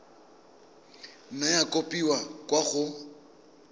nna ya kopiwa kwa go